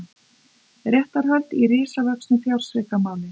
Réttarhöld í risavöxnu fjársvikamáli